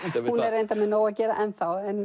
reyndar með nóg að gera ennþá en